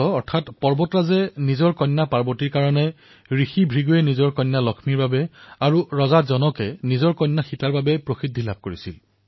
অৰ্থাৎ হিমৱন্ত বা পৰ্বতৰজাই নিজৰ কন্যা পাৰ্বতীৰ বাবে ঋষি ভৃগুৱে নিজৰ কন্যা লক্ষ্মীৰ বাবে আৰু ৰজা জনকে নিজৰ কন্যা সীতাৰ বাবে প্ৰসিদ্ধি লাভ কৰিছিল